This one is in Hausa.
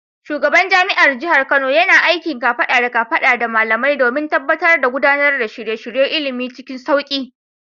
Shugaban jami’ar jihar Kano yana aiki kafada da kafada da malamai domin tabbatar da gudanar da shirye-shiryen ilimi cikin sauki.